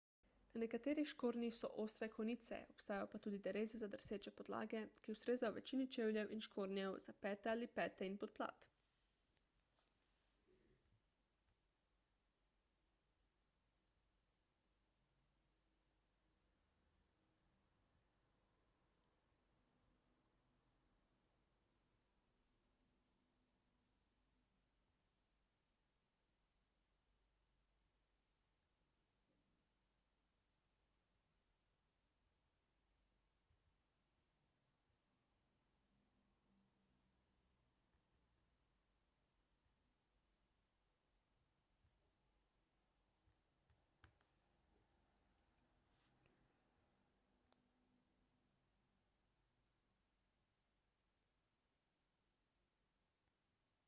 na nekaterih škornjih so ostre konice obstajajo pa tudi dereze za drseče podlage ki ustrezajo večini čevljev in škornjev za pete ali pete in podplat